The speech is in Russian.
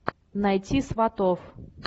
найти сватов